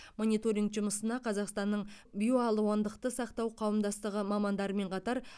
мониторинг жұмысына қазақстанның биоалуандықты сақтау қауымдастығы мамандарымен қатар